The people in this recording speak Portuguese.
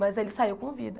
Mas ele saiu com vida.